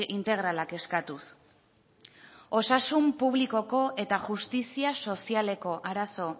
integralak eskatuz osasun publikoko eta justizia sozialeko arazo